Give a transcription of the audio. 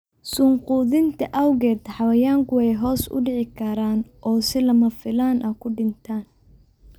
Suun quudinta awgeed, xayawaanku way hoos u dhici karaan oo si lama filaan ah u dhintaan.